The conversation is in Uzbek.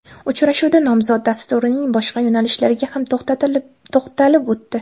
Uchrashuvda nomzod dasturining boshqa yo‘nalishlariga ham to‘xtalib o‘tdi.